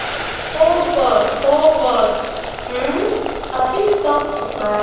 oh god oh god um i fit stop to cry